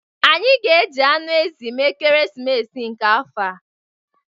Anyị ga-eji anụ ezi mee ekeresimesi nke afọ a.